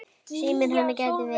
Síminn hennar gæti ver